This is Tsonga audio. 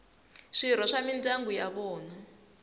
swirho swa mindyangu ya vona